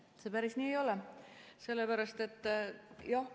See päris nii ei ole.